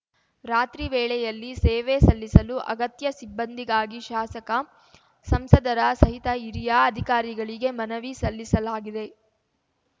ರಾತ್ರಿ ವೇಳೆಯಲ್ಲಿ ಸೇವೆ ಸಲ್ಲಿಸಲು ಅಗತ್ಯ ಸಿಬ್ಬಂದಿಗಾಗಿ ಶಾಸಕ ಸಂಸದರ ಸಹಿತ ಹಿರಿಯ ಅಧಿಕಾರಿಗಳಿಗೆ ಮನವಿ ಸಲ್ಲಿಸಲಾಗಿದೆ